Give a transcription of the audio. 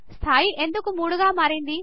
స్థాయి ఎందుకు మూడుగా మారింది